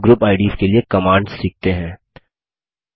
चलिए अब group IDs के लिए कमांड्स सीखते हैं